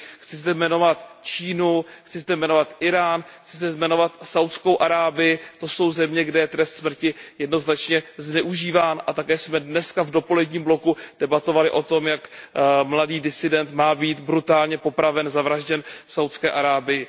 Chci zde jmenovat Čínu, chci zde jmenovat Írán, chci zde jmenovat Saúdskou Arábii, to jsou země, kde je trest smrti jednoznačně zneužíván a také jsme dnes v dopoledním bloku debatovali o tom, jak mladý disident má být brutálně popraven, zavražděn v Saúdské Arábii.